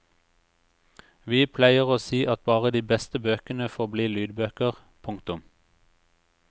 Vi pleier å si at bare de beste bøkene får bli lydbøker. punktum